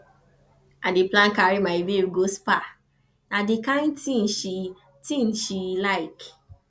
i dey plan carry my babe go spa na di kain tin she tin she like